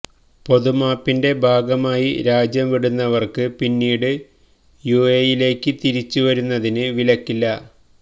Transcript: പൊതുമാപ്പിന്റെ ഭാഗമായി രാജ്യംവിടുന്നവര്ക്ക് പിന്നീട് യുഎഇയിലേക്ക് തിരിച്ചു വരുന്നതിന് വിലക്കില്ല